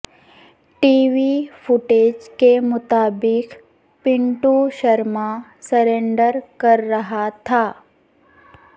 T V footage کے مطابق Pintu Sharma surrender کر رہا تھا